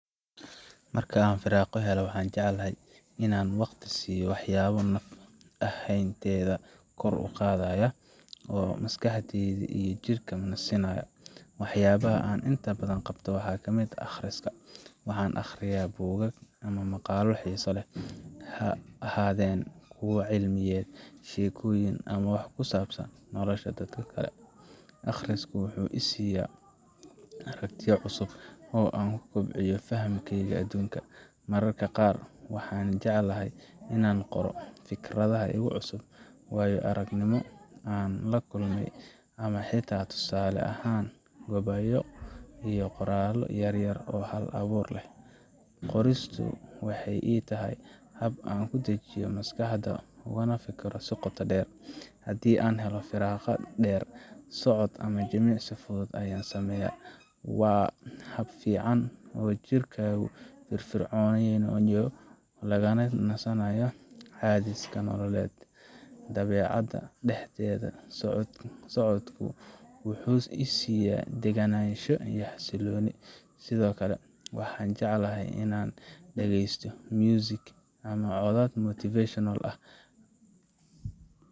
Marka aan firaaqo helo, waxaan jeclahay inaan waqti siiyo waxyaabo naf ahaanteyda kor u qaada oo maskaxda iyo jidhkaba nasinaya. Waxyaabaha aan inta badan qabto waxaa ka mid ah akhriska waxaan akhriyaa buugaag ama maqaallo xiiso leh, ha ahaadeen kuwo cilmiyeed, sheekooyin, ama wax ku saabsan nolosha dadka kale. Akhrisku wuxuu i siyaa aragtiyo cusub oo aan ku kobciyo fahamkayga adduunka. Mararka qaar, waxaan jeclahay inaan qoro fikradaha igu cusub, waayo aragnimo aan la kulmay, ama xitaa tusaale ahaan gabayo iyo qoraallo yar yar oo hal abuur leh. Qoristu waxay ii tahay hab aan ku dejiyo maskaxda, ugana fekero si qoto dheer. Haddii aan helo firaaqo dheer, socod ama jimicsi fudud ayaan sameeyaa. Waa hab fiican oo jirka lagu firfircoonaynayo lagana nasanayo cadaadiska nololeed. Dabeecadda dhexdeeda socodku wuxuu i siiya degganaansho iyo xasillooni. Sidoo kale, waxaan jeclahay inaan dhagaysto music ama codad motivational ah